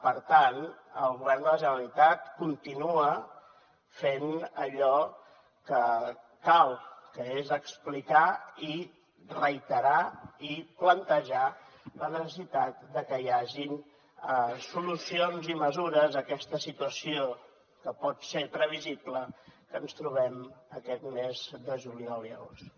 per tant el govern de la generalitat continua fent allò que cal que és explicar i reiterar i plantejar la necessitat de que hi hagin solucions i mesures a aquesta situació que pot ser previsible que ens trobem aquests mesos de juliol i agost